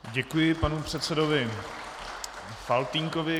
Děkuji panu předsedovi Faltýnkovi.